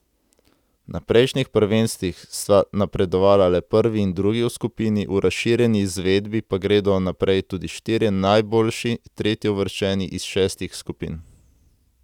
Na prejšnjih prvenstvih sta napredovala le prvi in drugi v skupini, v razširjeni izvedbi pa gredo naprej tudi štirje najboljši tretjeuvrščeni iz šestih skupin.